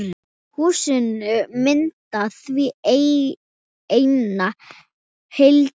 Húsin mynda því eina heild.